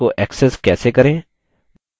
अन्य data sources को access कैसे करें